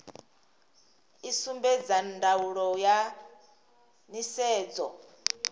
i sumbedza ndaulo ya nisedzo